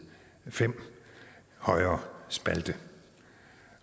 fem højre spalte